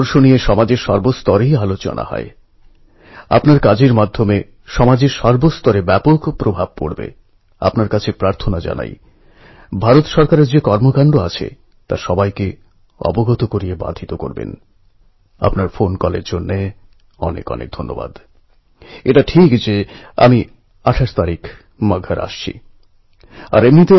গুরগাঁওয়ের প্রতিবন্ধী মেয়ে অনুষ্কা পাণ্ডে জন্ম থেকেই স্পাইনাল মাসকুলার অটোপ্সি নামক বংশগত রোগের শিকার এরা সবাই নিজেদের দৃঢ় সংকল্প আর মনের জোরে সব বাধা পার করে দুনিয়াকে দেখানোর মতো সাফল্য অর্জন করেছে